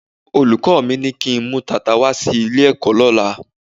Olùkọ́ mi ní kí n mú tata wá sí ilé-ẹ̀kọ́ lọ́la.